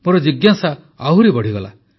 ମୋର ଜିଜ୍ଞାସା ଆହୁରି ବୃଦ୍ଧି ପାଇଲା